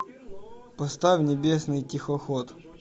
поставь небесный тихоход